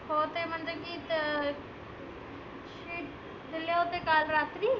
हो ते म्हणजे अं sheet दिले होते काल रात्री.